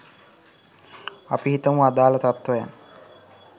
අපි හිතමු අදාල තත්වයන්